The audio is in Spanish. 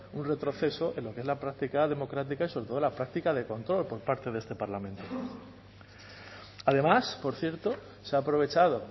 un retroceso en lo que es la práctica democrática y sobre todo la práctica de control por parte de este parlamento además por cierto se ha aprovechado